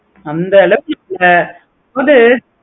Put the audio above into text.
அந்த அளவுக்கு confusion அதாவது